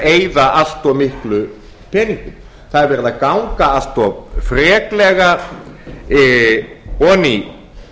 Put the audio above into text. eyða allt of miklum peningum það er verið að ganga allt of freklega ofan í